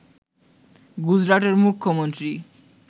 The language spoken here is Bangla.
গুজরাটের মুখ্যমন্ত্রী